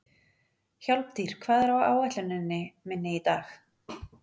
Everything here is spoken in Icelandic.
Hjálmtýr, hvað er á áætluninni minni í dag?